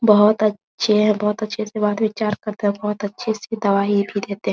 बहुत अच्छे हैं बहुत अच्छे से बात विचार करते हैं बहुत अच्छे से दवाई भी देते हैं ।